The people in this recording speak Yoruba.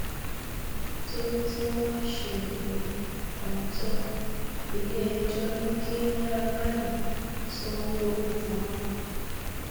nítorí tí wọn ṣe òfin kọńtò ilé ẹjọ ní kí naira marley sanwó ìtanràn